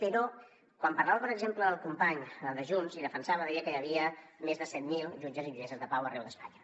però quan parlava per exemple el company de junts i defensava deia que hi havia més de set mil jutges i jutgesses de pau arreu d’espanya